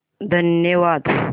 धन्यवाद